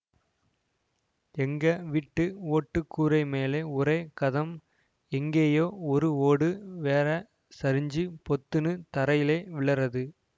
எங்க வீட்டு ஓட்டு கூரை மேல ஒரே ஹதம் எங்கேயோ ஒரு ஓடு வேறே சரிஞ்சு பொத்துனு தரையிலே விழறது